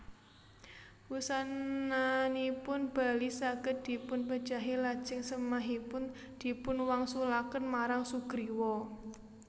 Wusananipun Bali saged dipunpejahi lajeng sèmahipun dipunwangsulaken marang Sugriwa